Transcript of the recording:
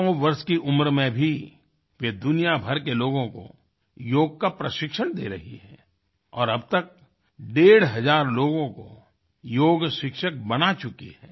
सौ वर्ष की उम्र में भी वे दुनिया भर के लोगों को योग का प्रशिक्षण दे रही हैंऔर अब तक डेढ़ हज़ार लोगों को योग शिक्षक बना चुकी हैं